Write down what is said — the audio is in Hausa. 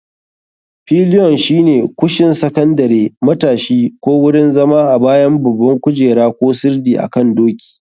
Pilion shine kushin sakandare, matashi, ko wurin zama a bayan babban kujera ko sirdi akan doki.